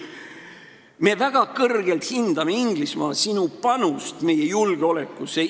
Me väga kõrgelt hindame, Inglismaa, sinu panust meie julgeolekusse.